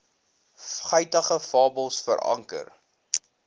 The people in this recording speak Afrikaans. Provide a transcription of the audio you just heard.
guitige fabels veranker